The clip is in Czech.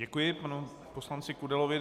Děkuji panu poslanci Kudelovi.